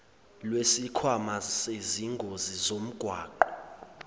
lwesikhwama sezingozi zomgwaqo